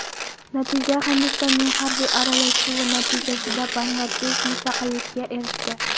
Natija Hindistonning harbiy aralashuvi natijasida Bangladesh mustaqillikka erishdi.